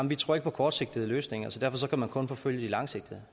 vi tror ikke på kortsigtede løsninger så derfor kan man kun forfølge de langsigtede